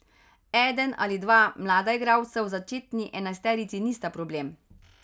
Eden ali dva mlada igralca v začetni enajsterici nista problem.